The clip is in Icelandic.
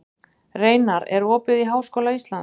Reinar, er opið í Háskóla Íslands?